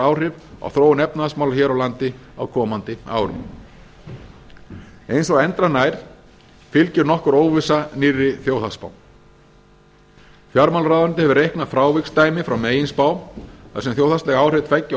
áhrif á þróun efnahagsmála hér á landi á komandi árum eins og endranær fylgir nokkur óvissa nýrri þjóðhagsspá fjármálaráðuneytið hefur reiknað fráviksdæmi frá meginspá þar sem þjóðhagsleg áhrif tveggja